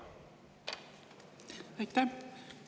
Aitäh!